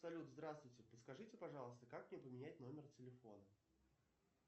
салют здравствуйте подскажите пожалуйста как мне поменять номер телефона